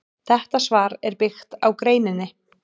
Þetta svar er byggt á greininni.